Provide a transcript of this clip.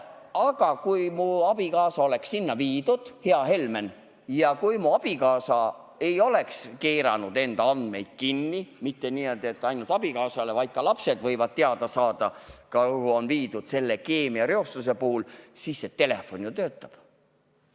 Aga kui mu abikaasa on haiglasse viidud, hea Helmen, ja kui ta pole oma andmeid kinni keeranud – kusjuures need pole avatud mitte ainult abikaasale, vaid ka lapsed võivad teada saada, kuhu ta selle keemiareostusega seoses on viidud –, siis see telefoniteenus ju töötab.